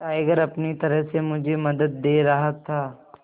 tiger अपनी तरह से मुझे मदद दे रहा था